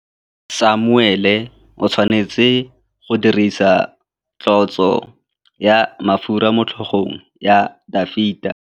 Samuele o tshwanetse go dirisa tlotsô ya mafura motlhôgong ya Dafita.